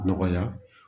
Nɔgɔya